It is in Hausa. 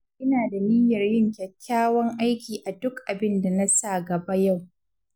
Ina da niyyar yin kyakkyawan aiki a duk abinda na sa gaba yau.